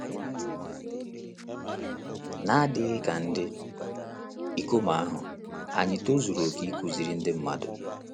N’adịghị ka ndị ikom ahụ, anyị tozuru oke ịkụziri ndị mmadụ?